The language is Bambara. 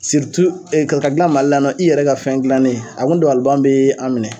ka gilan Mali la yan nɔ i yɛrɛ ka fɛn gilannen a kun dabaliban bɛ an minɛ.